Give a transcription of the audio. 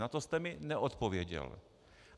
Na to jste mi neodpověděl.